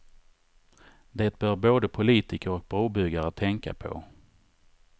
Det bör både politiker och brobyggare tänka på.